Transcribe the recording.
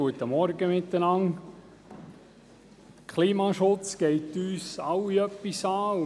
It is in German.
Der Klimaschutz geht uns alle etwas an.